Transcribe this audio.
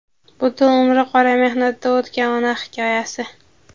butun umri qora mehnatda o‘tgan ona hikoyasi.